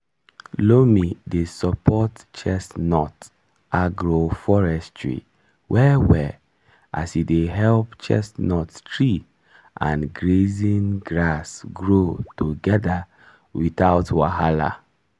loam dey support chestnut agroforestry well-well as e dey help chestnut tree and grazing grass grow together without wahala.